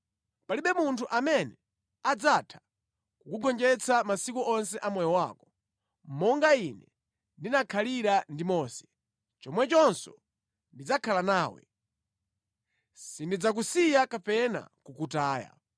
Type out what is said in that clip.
Palibe munthu amene adzatha kukugonjetsa masiku onse a moyo wako. Monga Ine ndinakhalira ndi Mose, chomwechonso ndidzakhala nawe. Sindidzakusiya kapena kukataya.